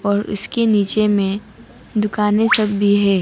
और इसके नीचे में दुकानें सब भी है।